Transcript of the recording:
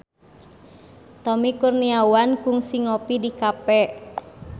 Tommy Kurniawan kungsi ngopi di cafe